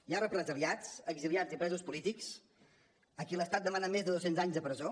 hi ha represaliats exiliats i presos polítics a qui l’estat demana més de dos cents anys de presó